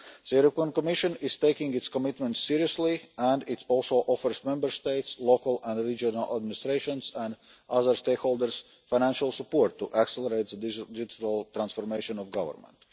The Commission is taking its commitment seriously and also offers Member States, local and regional administrations and other stakeholders financial support to accelerate the digital transformation of government.